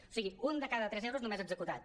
o sigui un de cada tres euros només executat